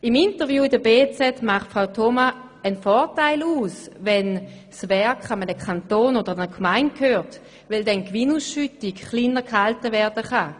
Im Interview mit der «Berner Zeitung» macht Suzanne Thoma einen Vorteil aus, wenn ein Werk einem Kanton oder einer Gemeinde gehört, weil dann die Gewinnausschüttung tiefer gehalten werden könne.